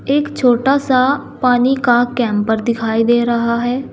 एक छोटा सा पानी का कैंपर दिखाई दे रहा है।